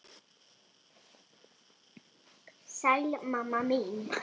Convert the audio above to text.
Við skulum reyna.